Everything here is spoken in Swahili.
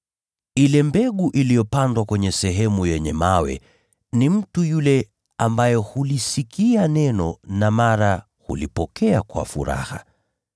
Ile mbegu iliyopandwa kwenye sehemu yenye mawe ni mtu yule ambaye hulisikia neno na mara hulipokea kwa furaha.